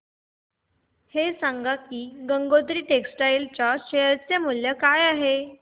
हे सांगा की गंगोत्री टेक्स्टाइल च्या शेअर चे मूल्य काय आहे